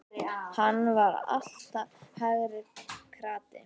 Hann var alltaf hægri krati!